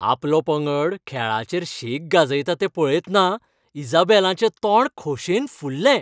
आपलो पंगड खेळाचेर शेक गाजयता तें पळयतना इसाबेलाचें तोंड खोशेन फुललें.